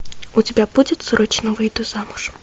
у тебя будет срочно выйду замуж